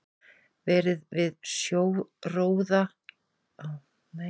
Verið við sjóróðra á Suðurnesjum og í hákarlalegum við Eyjafjörð og á Ströndum.